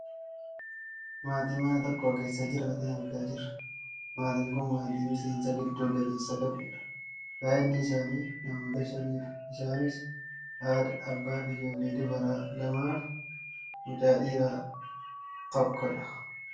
Maatii mana tokko keessa jiraatan argaa jirra . Maatiin kun maatii miseensa giddu galeessa qabudha. Baayyinni isaanii namoota shanidha. Isaanis haadha, abbaa fi ijoollee dubaraa lamaafi mucaa dhiiraa tokko dha.